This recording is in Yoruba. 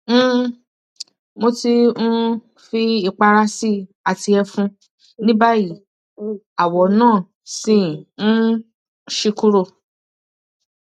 um mo ti um fi ipara si i ati efun nibayi awo na si um n si kuro